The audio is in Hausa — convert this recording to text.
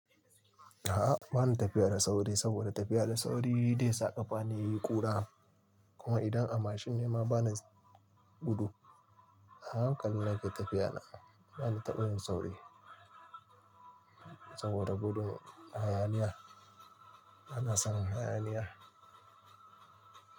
A'a, ba na tafiya da sauri saboda tafiya da sauri dai sa ƙafa na yayi ƙura. Kuma idan a mashin ne ma bana gudu. A hankali nake tafiya na, ba na taɓa yin sauri saboda gudun hayaniya. Bana son hayaniya.